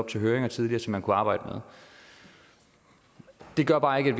i høringer tidligere som man kunne arbejde med det gør bare ikke